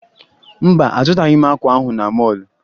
Mba, azụtaghị m akwa ahụ na mọọlụ